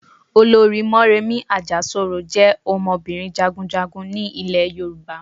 Olorì Móremí Àjàsorò jẹ́ ọmọbìnrin Jagunjagun ni ilè Yorùbá